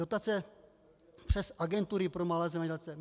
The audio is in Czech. Dotace přes agentury pro malé zemědělce.